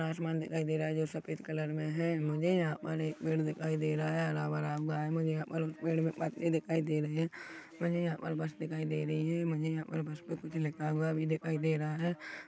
आसमान दिखाई दे रहा हैं जो सफेद कलर मे हैं मुझे यहाँ पर एक पेड़ दिखाई दे रहा हैं हरा-भरा हुआ हैं मुझे यहाँ पर उस पेड़ मे पत्ते दिखाई दे रहे हैं मुझे यहाँ पर बस दिखाई दे रही हैं मुझे यहाँ पर बस पर कुछ लिखा हुआ भी दिखाई दे रहा हैं।